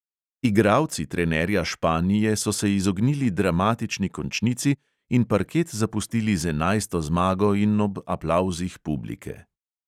Igralci trenerja španije so se izognili dramatični končnici in parket zapustili z enajsto zmago in ob aplavzih publike.